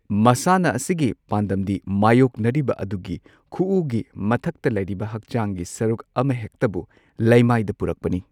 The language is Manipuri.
ꯃꯁꯥꯟꯅ ꯑꯁꯤꯒꯤ ꯄꯥꯟꯗꯝꯗꯤ ꯃꯥꯢꯌꯣꯛꯅꯔꯤꯕ ꯑꯗꯨꯒꯤ ꯈꯨꯎꯒꯤ ꯃꯊꯛꯇ ꯂꯩꯔꯤꯕ ꯍꯛꯆꯥꯡꯒꯤ ꯁꯔꯨꯛ ꯑꯃꯍꯦꯛꯇꯕꯨ ꯂꯩꯃꯥꯏꯗ ꯄꯨꯔꯛꯄꯅꯤ꯫